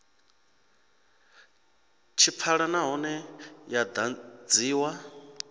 tshi pfala nahone yo ḓadziwa